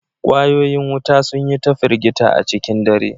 Ƙwayoyin wuta sun yi ta firgita a cikin dare